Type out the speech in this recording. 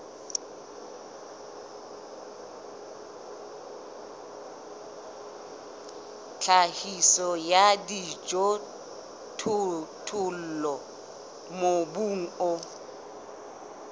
tlhahiso ya dijothollo mobung o